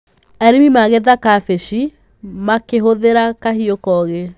Arĩmi magetha kabici makĩhũthĩra kahiũ koogĩ.